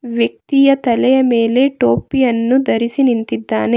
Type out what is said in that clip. ವ್ಯಕ್ತಿಯ ತಲೆಯ ಮೇಲೆ ಟೋಪಿಯನ್ನು ಧರಿಸಿ ನಿಂತಿದ್ದಾನೆ.